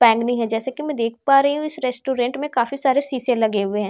pan में हैं जैसे की मैं देख पा रही हूँ इस रेस्टोरेंट में काफी सारे शीशे लगे हुए हैं --